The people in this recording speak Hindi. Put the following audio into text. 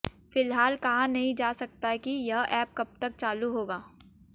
फिलहाल कहा नहीं जा सकता कि यह ऐप कब तक चालू होगा